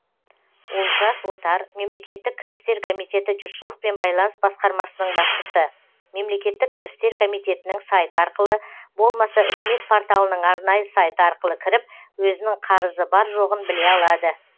олжас отар мемлекеттік кірістер комитеті жұртшылықпен байланыс басқармасының басшысы мемлекеттік кірістер комитетінің сайты арқылы болмаса үкімет порталының арнайы сайты арқылы кіріп өзінің қарызы бар жоғын біле алады